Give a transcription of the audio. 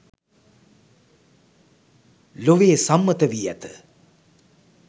ලොවේ සම්මත වී ඇත